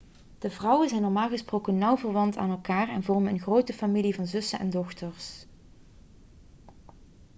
de vrouwen zijn normaal gesproken nauw verwant aan elkaar en vormen een grote familie van zussen en dochters